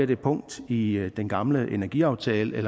det punkt i i den gamle energiaftale i